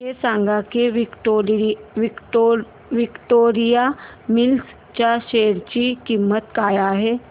हे सांगा की विक्टोरिया मिल्स च्या शेअर ची किंमत काय आहे